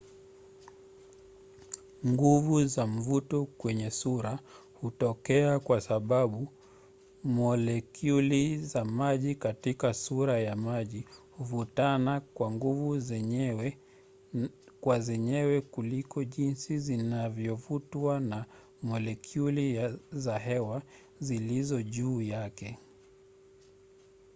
nguvu za mvuto kwenye sura hutokea kwa sababu molekyuli za maji katika sura ya maji huvutana kwa nguvu zenyewe kwa zenyewe kuliko jinsi zinavyovutwa na molekyuli za hewa zilizo juu yake